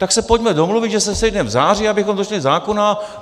Tak se pojďme domluvit, že se sejdeme v září, abychom došli zákona.